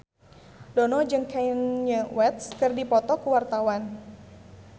Dono jeung Kanye West keur dipoto ku wartawan